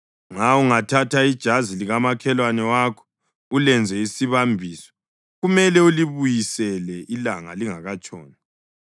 Nxa ungathatha ijazi likamakhelwane wakho ulenze isibambiso, kumele ulibuyisele ilanga lingakatshoni,